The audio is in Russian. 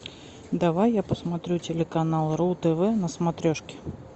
давай я посмотрю телеканал ру тв на смотрешке